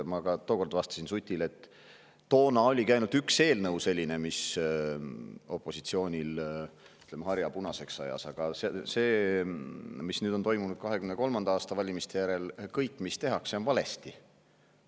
Ma tookord vastasin Sutile, et toona oligi vaid üks selline eelnõu, mis ajas opositsioonil harja punaseks, aga 2023. aasta valimiste järel on toimunud see, et kõik, mis tehakse, on valesti.